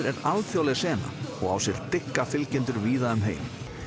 er alþjóðleg sena og á sér dygga fylgjendur víða um heim